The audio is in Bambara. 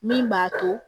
Min b'a to